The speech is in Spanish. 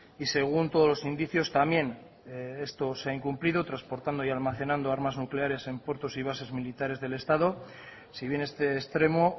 y según todos los indicios también esto se ha incumplido transportando y almacenando armas nucleares en puertos y bases militares del estado si bien este extremo